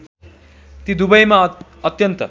ती दुबैमा अत्यन्त